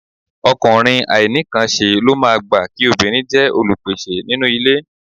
Ọkùnrin àìnínǹkanṣe ló máa gbà kí obìnrin jẹ́ olùpèsè nínú ilé